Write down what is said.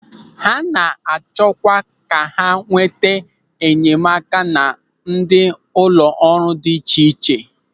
Ha na-achọkwa ka ha nweta enyemaka na ndị ụlọ ọrụ dị iche iche.